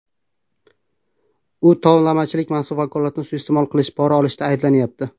U tovlamachilik, mansab vakolatini suiiste’mol qilish, pora olishda ayblanyapti.